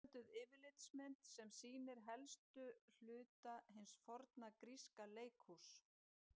Einfölduð yfirlitsmynd sem sýnir helstu hluta hins forna gríska leikhúss.